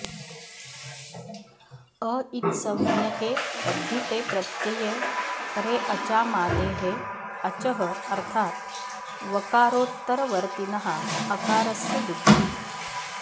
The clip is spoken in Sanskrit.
अ इत्संज्ञके तद्धिते प्रत्यये परे अचामादेः अचः अर्थात् वकारोत्तरवर्तिनः अकारस्य वृद्धिः